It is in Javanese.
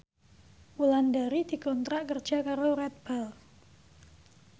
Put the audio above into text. Wulandari dikontrak kerja karo Red Bull